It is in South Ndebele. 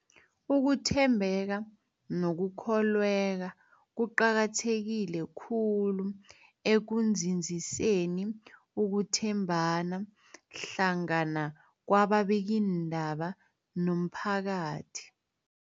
Ukuthembeka nokukholweka kuqakatheke khulu ekunzinziseni ukuthembana hlangana kwababikiindaba nomphakathi.